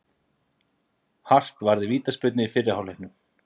Hart varði vítaspyrnu í fyrri hálfleiknum